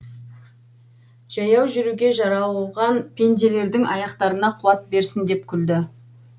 жаяу жүруге жаралған пенделердің аяқтарына қуат берсін деп күлді